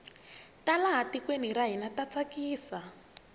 ta laha tikweni ra hina ta tsakisa